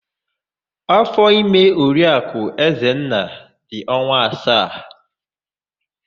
Áfọ̀ime Oriakụ Ezenna dị ọnwa asaa.